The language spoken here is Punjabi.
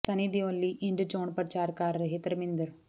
ਸੰਨੀ ਦਿਓਲ ਲਈ ਇੰਝ ਚੋਣ ਪ੍ਰਚਾਰ ਕਰ ਰਹੇ ਧਰਮਿੰਦਰ